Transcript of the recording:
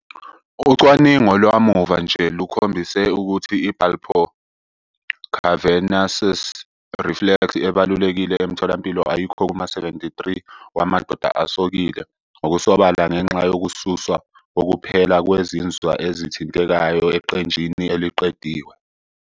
Ucwaningo lwamuva nje lukhombisile ukuthi i-bulbocavernosus reflex ebalulekile emtholampilo ayikho kuma-73 wamadoda asokile ngokusobala ngenxa yokususwa kokuphela kwezinzwa ezithintekayo eqenjini eliqediwe.